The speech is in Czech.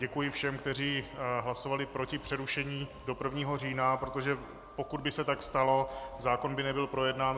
Děkuji všem, kteří hlasovali proti přerušení do 1. října, protože pokud by se tak stalo, zákon by nebyl projednán.